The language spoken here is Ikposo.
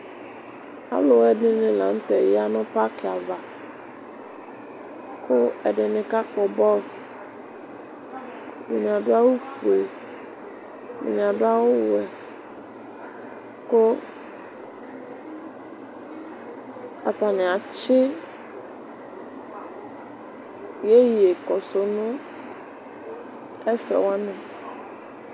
Alʋ ɛdini lanʋtɛ yanʋ paki ava kʋ ɛdini kakpɔ bɔl ɛdini adʋ awʋfue ɛdini adʋ awʋwɛ kʋ atani atsi iyeye kɔsʋ tʋnʋ ɛfɛ wani